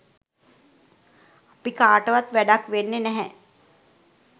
අපි කාටවත් වැඩක් වෙන්නේ නැහැ.